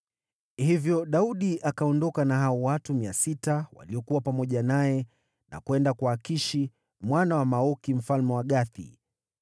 Hivyo Daudi akaondoka na hao watu mia sita waliokuwa pamoja naye na kwenda kwa Akishi mwana wa Maoki mfalme wa Gathi.